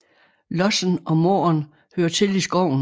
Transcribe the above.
Lossen og måren hører til i skoven